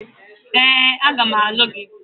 Ee, a ga m alụ gị.